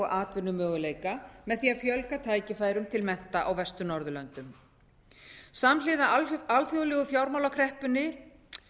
atvinnumöguleika með því að fjölga tækifærum til mennta á vestur norðurlöndum samhliða alþjóðlegu fjármálakreppunni